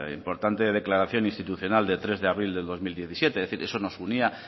importante declaración institucional de tres de abril del dos mil diecisiete es decir eso nos unía